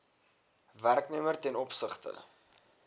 werknemer ten opsigte